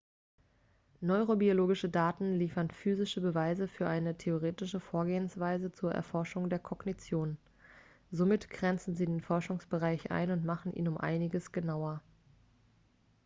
neurobiologische daten liefern physische beweise für eine theoretische vorgehensweise zur erforschung der kognition somit grenzen sie den forschungsbereich ein und machen ihn um einiges genauer